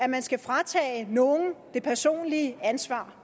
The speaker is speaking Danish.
man skal fratage nogen det personlige ansvar